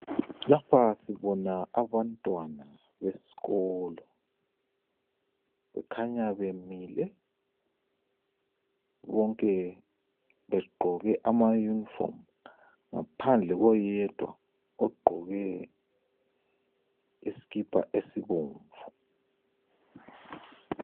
Lapha sibona abantwana besikolo, bakhanya bemilebonke begqoke ama uniform ngaphandle koyedwa ogqoke isikipa esibomvu.